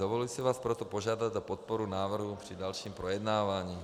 Dovoluji si vás proto požádat o podporu návrhu při dalším projednávání.